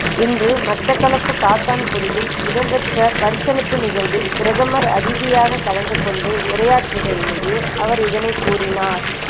இன்று மட்டக்களப்பு காத்தான்குடியில் இடம்பெற்ற பரிசளிப்பு நிகழ்வில் பிரதம அதிதியாக கலந்து கொண்டு உரையாற்றுகையிலேயே அவர் இதனைக் கூறினார்